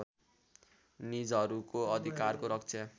निजहरूको अधिकारको रक्षा